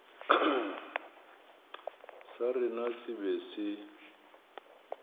sa rena se be se